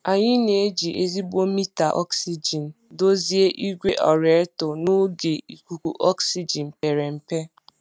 Anyị na-eji ezigbo mita ọksijin dozie igwe aerator n'oge ikuku ọksijin pere mpe.